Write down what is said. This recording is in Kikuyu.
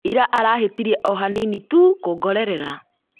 Ĩra arahĩtirie ohanini tu kũngorerera